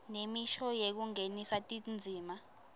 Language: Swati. nemisho yekungenisa tindzima